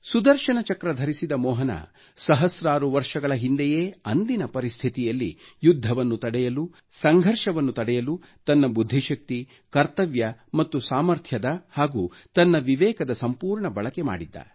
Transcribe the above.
ಸುದರ್ಶನ ಚಕ್ರ ಧರಿಸಿದ ಮೋಹನ ಸಹಸ್ರಾರು ವರ್ಷಗಳ ಹಿಂದೆಯೇ ಅಂದಿನ ಪರಿಸ್ಥಿತಿಯಲ್ಲಿ ಯುದ್ಧವನ್ನು ತಡೆಯಲು ಸಂಘರ್ಷವನ್ನು ತಡೆಯಲು ತನ್ನ ಬುದ್ಧಿಶಕ್ತಿ ಕರ್ತವ್ಯ ಮತ್ತು ಸಾಮರ್ಥ್ಯದ ಹಾಗೂ ತನ್ನ ವಿವೇಕದ ಸಂಪೂರ್ಣ ಬಳಕೆ ಮಾಡಿದ್ದ